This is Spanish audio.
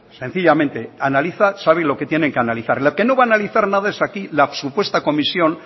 sencillamente analizan saben lo que tienen que analizar lo que no va a analizar nada es aquí la supuesta comisión